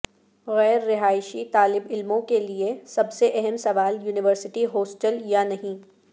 غیر رہائشی طالب علموں کے لئے سب سے اہم سوال یونیورسٹی ہاسٹل یا نہیں